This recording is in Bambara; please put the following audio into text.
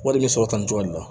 Wari bɛ sɔrɔ tan ni duuru de la